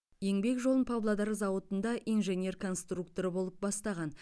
еңбек жолын павлодар зауытында инженер конструктор болып бастаған